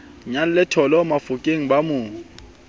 nyalle thollo bafokeng ba mo